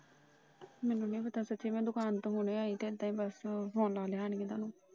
ਮੈਨੂੰ ਨਹੀਂ ਪਤਾ ਸੱਚੀ ਮੈ ਦੁਕਾਨ ਤੋਂ ਹੋਣੀ ਆਈ ਤੇ ਬਸ ਆਣ ਕੇ Phone ਲਾ ਲਿਆ ਤੁਹਾਨੂੰ ।